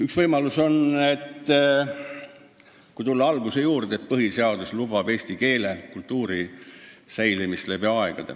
Nagu ma oma kõne alguses ütlesin, põhiseadus lubab tagada eesti keele ja kultuuri säilimise läbi aegade.